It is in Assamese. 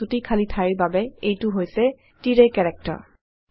আৰু ছুটি খালী ঠাইৰ বাবে এইটো হৈছে তিৰায় কেৰেক্টাৰ